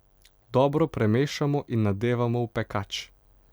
Dobro premešamo in nadevamo v pekač.